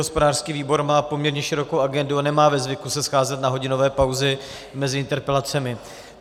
Hospodářský výbor má poměrně širokou agendu a nemá ve zvyku se scházet na hodinové pauzy mezi interpelacemi.